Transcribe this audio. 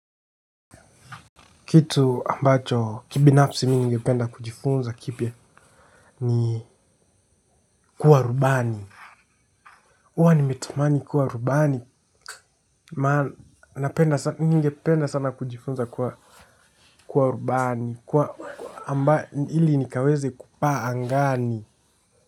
Kitu ambacho kibinafsi mimi ningependa kujifunza kipya ni kuwa rubani. Huwa nimetamani kuwa rubani maana ningependa sana kujifunza kuwa rubani kwa amba ili nikaweze kupaa angani.